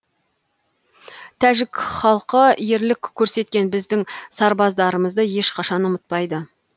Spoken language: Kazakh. тәжік халқы ерлік көрсеткен біздің сарбаздарымызды ешқашан ұмытпайды